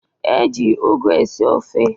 E ji ụgụ esi ofe